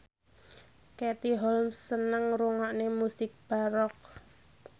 Katie Holmes seneng ngrungokne musik baroque